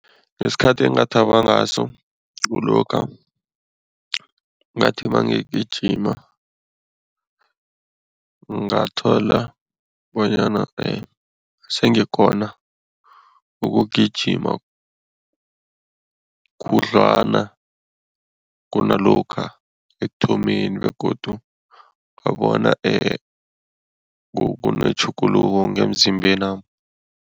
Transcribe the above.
Ngesikhathi engathaba ngaso kulokha ngathi nangigijima, ngathola bonyana sengikghona ukugijima khudlwana kunalokha ekuthomeni begodu ngabona kunetjhuguluko ngemzimbenami.